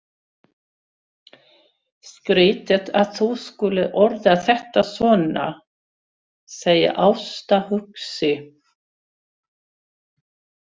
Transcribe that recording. Skrýtið að þú skulir orða þetta svona, segir Ásta hugsi.